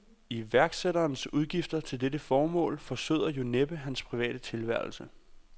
Iværksætterens udgifter til dette formål forsøder jo næppe hans private tilværelse.